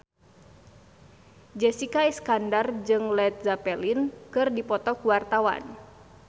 Jessica Iskandar jeung Led Zeppelin keur dipoto ku wartawan